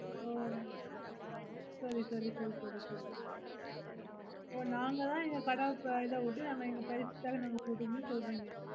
ஓ சேரி சேரி சேரி சேரி சேரி அப்போ நாங்கதான் எங்க கடை போடு எங்க price காக நாங்க பொடுகுணோம்னு சொல்லறீங்க